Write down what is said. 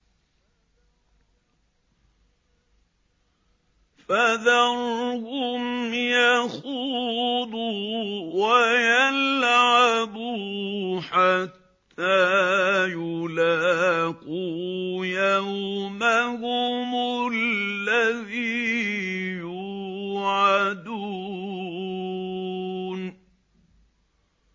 فَذَرْهُمْ يَخُوضُوا وَيَلْعَبُوا حَتَّىٰ يُلَاقُوا يَوْمَهُمُ الَّذِي يُوعَدُونَ